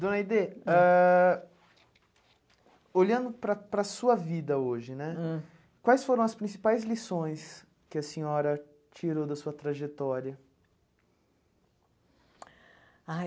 Dona Aidê, ãh olhando para para sua vida hoje né, hum quais foram as principais lições que a senhora tirou da sua trajetória? Ai